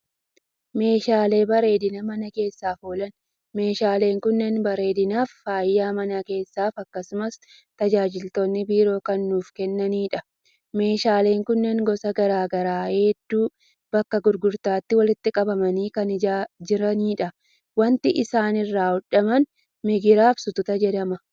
Meeshaalee bareedina mana keessaaf oolan. Meeshaaleen kunneen bareedinaa fi faaya mana keessaaf akkasumas tajaajiloota biroo kan nuuf kennanidha. Meeshaaleen kunneen gosa garaa garaa hedduu bakka gurgutaatti walitti qabamanii kan jiranidha. Wanti isaan irraa hodhaman migiraa fi sutataa jedhama.